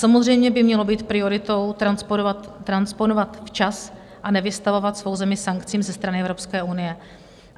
Samozřejmě by mělo být prioritou transponovat včas a nevystavovat svou zemi sankcím ze strany Evropské unie.